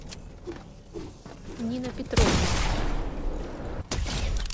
нина петровна